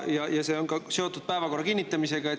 Ja need on seotud päevakorra kinnitamisega.